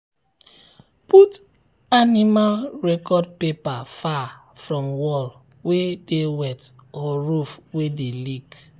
put put animal record paper far from wall wey dey wet or roof wey dey leak.